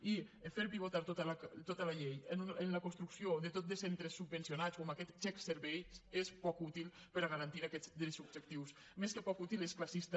i fer pivotar tota la llei en la construcció de tot de centres subvencionats o amb aquest xec servei és poc útil per a garantir aquests drets subjectius més que poc útil és classista